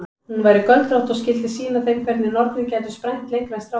Hún væri göldrótt og skyldi sýna þeim hvernig nornir gætu sprænt lengra en strákar.